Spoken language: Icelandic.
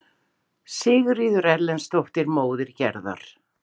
Sigríður Erlendsdóttir, móðir Gerðar.